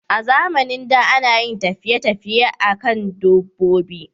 A zamanin da, ana yin tafiye tafiye a kan dabbobi